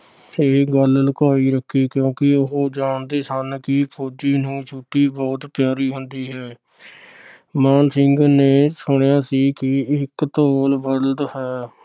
ਇਹ ਗੱਲ ਲੁਕਾਈ ਰੱਖੀ ਕਿਉਕਿ ਉਹ ਜਾਂਦੇ ਸਨ ਕਿ ਫੋਜੀ ਨੂੰ ਛੁੱਟੀ ਬਹੁੱਤ ਪਿਆਰੀ ਹੁੰਦੀ ਹੈ। ਮਾਣ ਸਿੰਘ ਨੇ ਸੁਣਿਆ ਸੀ ਕਿ ਇਕ ਧੌਲ ਬਲਦ ਹੈ,